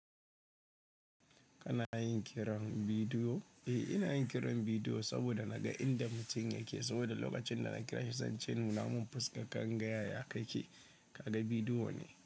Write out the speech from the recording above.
Kana yin kiran bidiyo? Eh, ina yin kiran bidiyo saboda naga inda mutum yake. Saboda lokacin da na kira shi, sun ce muna mun fuskan ka inga yaya kake. Kaga bidiyo ne.